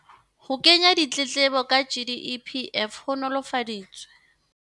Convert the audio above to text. Ho kenya ditletlebo ka GEPF ho nolofaditswe.